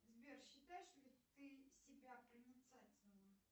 сбер считаешь ли ты себя проницательным